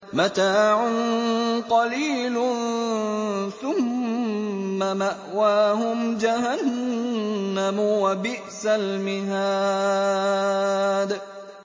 مَتَاعٌ قَلِيلٌ ثُمَّ مَأْوَاهُمْ جَهَنَّمُ ۚ وَبِئْسَ الْمِهَادُ